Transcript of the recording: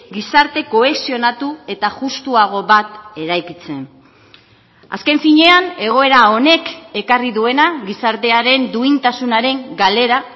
gizarte kohesionatu eta justuago bat eraikitzen azken finean egoera honek ekarri duena gizartearen duintasunaren galera